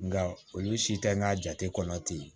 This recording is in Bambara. Nka olu si tɛ n ka jate kɔnɔ ten